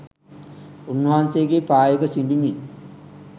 උන්වහන්සේගේ පා යුග සිඹිමින්